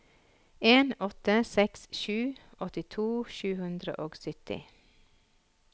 en åtte seks sju åttito sju hundre og sytti